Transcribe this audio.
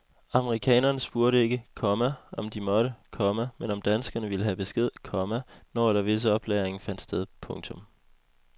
Amerikanerne spurgte ikke, komma om de måtte, komma men om danskerne ville have besked, komma når eller hvis oplagringen fandt sted. punktum